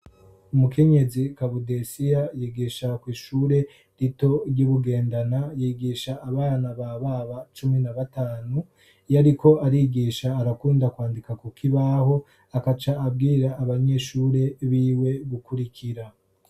umukenyezi cabudesia yigisha kwishure rito ry'ibugendana yigisha abana bababa cumi na batanu yariko arigisha arakunda kwandika kuk ibaho akaca abwira abanyeshure biwe gukurikira